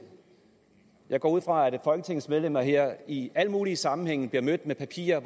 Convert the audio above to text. jeg går ud fra at folketingets medlemmer her i alle mulige sammenhænge bliver mødt med papirer